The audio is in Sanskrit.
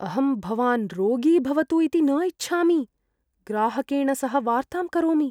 अहं भवान् रोगी भवतु इति न इच्छामि। ग्राहकेण सह वार्तां करोमि।